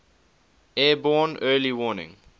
airborne early warning